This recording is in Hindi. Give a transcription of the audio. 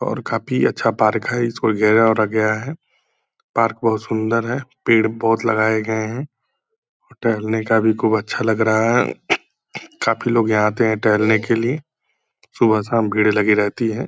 और काफी अच्छा पार्क है इसको घेरा वेरा गया है पार्क बहुत सुंदर है पेड़ बहुत लगाये गए हैं और टहलने का भी खूब अच्छा लग रहा है काफी लोग यहाँ आते हैं टहलने के लिए सुबह शाम भीड़ लगी रहती है ।